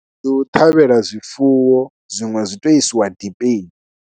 Ndi u ṱhavhela zwifuwo, zwiṅe zwi tou isiwa dipeni.